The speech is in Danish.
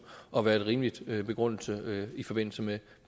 at være en rimelig begrundelse i forbindelse med